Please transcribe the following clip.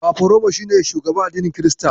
Fafaroma shi ne shugaban addinin Kirista.